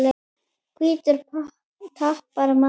Og hvítur tapar manni.